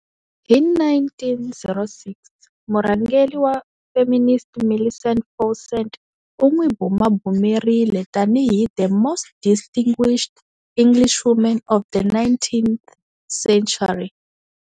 Hi 1906 murhangeri wa feminist Millicent Fawcett u n'wi bumabumerile tani hi"the most distinguished Englishwoman of the nineteenth century".